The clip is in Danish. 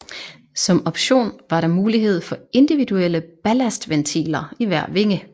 Som option var der mulighed for individuelle ballastventiler i hver vinge